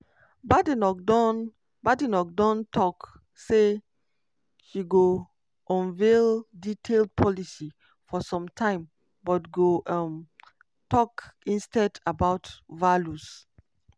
badenoch don badenoch don tok say she no go unveil detailed policies for some time but go um tok instead about values.